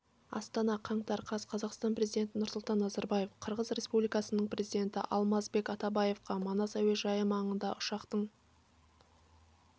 астана қаңтар қаз қазақстан президенті нұрсұлтан назарбаев қырғыз республикасының президенті алмазбек атамбаевқа манас әуежайы маңында ұшақтың